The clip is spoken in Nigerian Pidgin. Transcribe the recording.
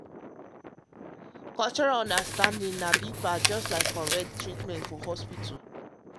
um cultural understanding na big part just like um correct treatment for hospital.